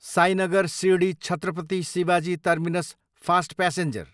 Sainagar Shirdi, Chhatrapati Shivaji terminus fast passenger